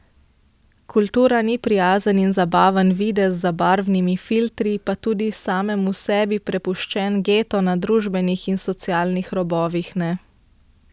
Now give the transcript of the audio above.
Kultura ni prijazen in zabaven videz za barvnimi filtri, pa tudi samemu sebi prepuščen geto na družbenih in socialnih robovih ne.